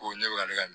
Ko ne bɛ ka ne ka